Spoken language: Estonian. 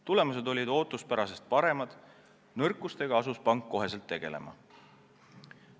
Tulemused olid ootuspärasest paremad, nõrkustega asus pank kohe tegelema.